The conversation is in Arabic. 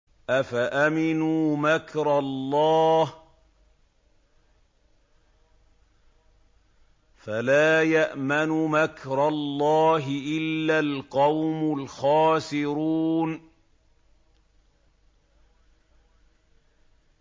أَفَأَمِنُوا مَكْرَ اللَّهِ ۚ فَلَا يَأْمَنُ مَكْرَ اللَّهِ إِلَّا الْقَوْمُ الْخَاسِرُونَ